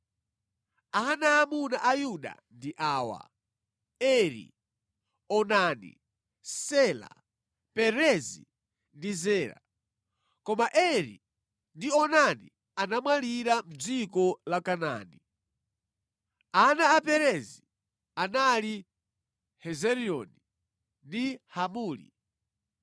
Ana aamuna a Yuda ndi awa: Eri, Onani, Sela, Perezi ndi Zera. Koma Eri ndi Onani anamwalira mʼdziko la Kanaani. Ana a Perezi anali Hezironi ndi Hamuli.